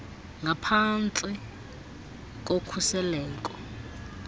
ngaphan tsi kokhuseleko